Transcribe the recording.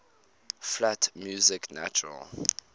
flat music natural